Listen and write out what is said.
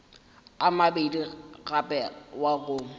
a mabedi gape wa go